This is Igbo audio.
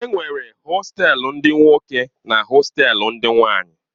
Enwere hostelu ndi nwoke na hostelu ndị nwanyi.